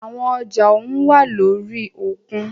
Àwọn ọjà ohùn wá lórí òkun.